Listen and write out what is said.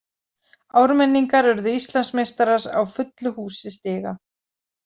Ármenningar urðu Íslandsmeistarar á fullu húsi stiga.